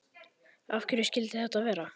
Af hverju skyldi þetta vera?